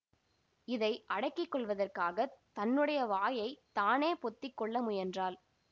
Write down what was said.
இதை அடக்கி கொள்வதற்காகத் தன்னுடைய வாயை தானே பொத்திக்கொள்ள முயன்றாள்